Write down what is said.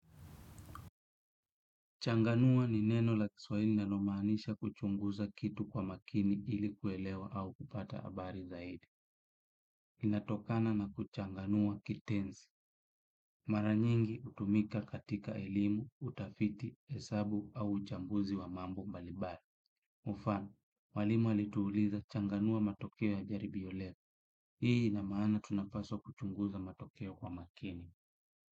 Changanua ni neno la kiswahili linalomaanisha kuchunguza kitu kwa makini ili kuelewa au kupata habari zaidi. Inatokana na kuchanganua kitenzi. Mara nyingi hutumika katika elimu, utafiti, hesabu au uchambuzi wa mambo mbalimbali. Mfano, mwalimu alituuliza changanua matokeo ya jaribio leo. Hii ina maana tunapaswa kuchunguza matokeo kwa makini.